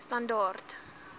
standaard d l